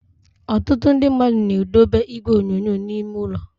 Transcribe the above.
Ọtụtụ ndị mmadụ na edobe igwe onyonyo n'ime ụlọ.